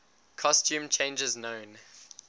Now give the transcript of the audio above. costume changes known